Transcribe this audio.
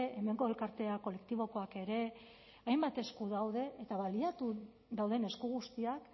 hemengo elkartea kolektibokoak ere hainbat esku daude eta baliatuz dauden esku guztiak